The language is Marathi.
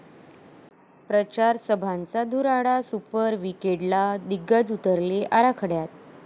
प्रचारसभांचा धुराळा, सुपर विकेंडला दिग्गज उतरले आखाड्यात